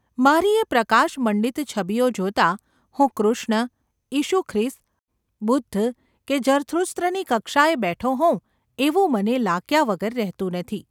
મારી એ પ્રકાશમંડિત છબીઓ જોતાં હું કૃષ્ણ, ઈશુખ્રિસ્ત, બુદ્ધ કે જરથુસ્ત્રની કક્ષાએ બેઠો હોઉં એવું મને લાગ્યા વગર રહેતું નથી.